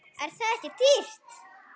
Er það ekki dýrt?